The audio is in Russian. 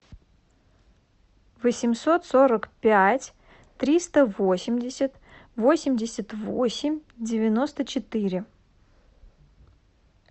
восемьсот сорок пять триста восемьдесят восемьдесят восемь девяносто четыре